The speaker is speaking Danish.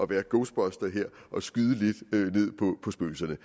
være ghostbuster her og skyde spøgelserne